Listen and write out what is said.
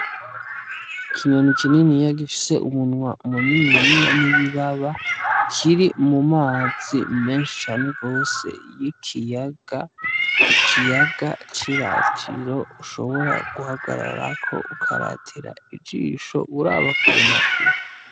Ikinyoni kininiya gifise umunwa muniniya n'ibibaba kiri mu mazi menshi cane gose y'ikiyaga, ikiyaga c'iratiro ushobora guhagararako ukaratira ijisho uraba kure na kure.